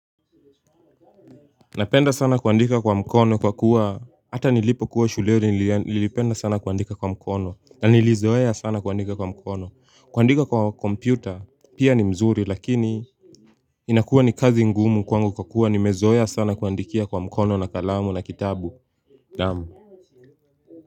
Napenda sana kuandika kwa mkono kwa kuwa hata nilipo kuwa shule nilipenda sana kuandika kwa mkono. Na nilizoeya sana kuandika kwa mkono. Kuandika kwa kompyuta pia ni mzuri lakini inakuwa ni kazi ngumu kwa kuwa nimezoeya sana kuandikia kwa mkono na kalamu na kitabu naamu.